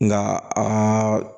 Nka aa